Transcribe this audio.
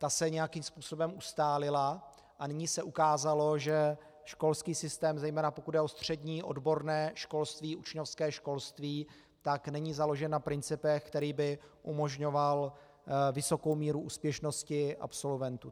Ta se nějakým způsobem ustálila a nyní se ukázalo, že školský systém, zejména pokud jde o střední odborné školství, učňovské školství, tak není založen na principech, které by umožňovaly vysokou míru úspěšnosti absolventů.